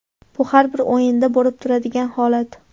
Bu har bir o‘yinda bo‘lib turadigan holat.